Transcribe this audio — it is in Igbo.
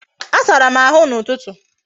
Asara m ahụ n'ụtụtụ